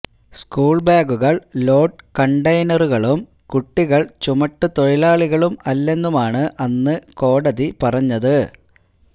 school ബാഗുകള് load കണ്ടയ്നറുകളും കുട്ടികള് ചുമട്ടു തൊഴിലാളികളും അല്ലെന്നുമാണ് അന്ന് കോടതി പറഞ്ഞത്